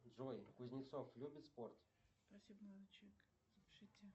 джой кузнецов любит спорт